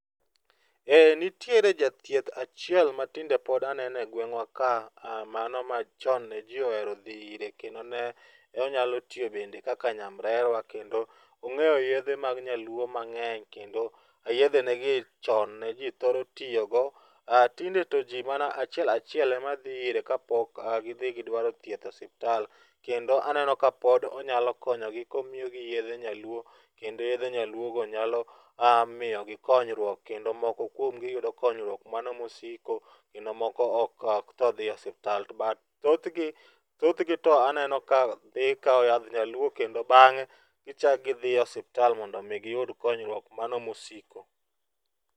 Ee, Nitiere Jathieth achiel matinde pod anene e gweng' wa ka, aah, mano machoon ne ji ohero dhi ire kendo ne onyalo tiyo bende kaka nyamrerwa ong'eyo yedhe mag nyaluo mag'eny kendo yedhe ge ni chon ne ji thoro tiyogo. Aah tinde to ji mana achiel achiel emadhi ire kapok gi dhi gidwaro thieth e osiptal Kendo aneno kapod onyalo konyo gi komiyogi yedhe nyaluo, kendo yedhe nyaluogo nyalo, aah miyogi konyruok kendo moko kuomgi yudo konyruok mano mosiko, kendo moko ok tho dhiye e osiptal. But thothgi, thothgi to aneno ka dhi kawo yadh nyaluo kendo bang'e gichak gidhi e osiptal mondo omi giyud konyruok mano mosiko.